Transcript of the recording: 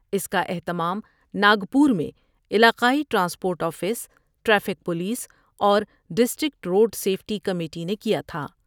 اس کا اہتمام ناگپور میں علاقائی ٹرانسپورٹ آفس ، ٹریفک پولس اور ڈسٹرکٹ روڈسیفٹی کمیٹی نے کیا تھا ۔